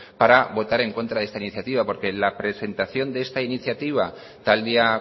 para votar en contra de esta iniciativa porque la presentación de esta iniciativa tal día